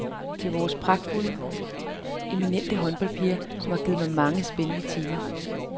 Til vores pragtfulde, eminente håndboldpiger, som har givet mig mange spændende timer.